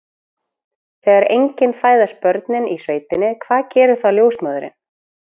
Þegar engin fæðast börnin í sveitinni, hvað gerir þá ljósmóðirin?